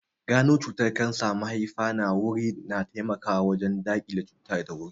Gano cutar kansar mahaifa da wuri na taimakawa wajen daƙile cutar da wuri